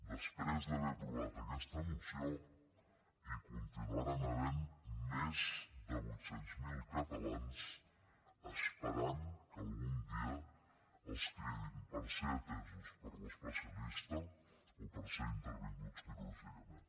després d’haver aprovat aquesta moció hi continuaran havent més de vuit cents mil catalans esperant que algun dia els cridin per ser atesos per l’especialista o per ser intervinguts quirúrgicament